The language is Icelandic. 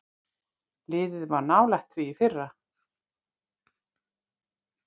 Liðið var nálægt því í fyrra.